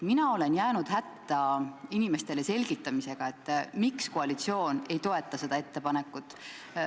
Mina olen jäänud hätta inimestele selgitamisega, miks koalitsioon ei toeta seda ettepanekut.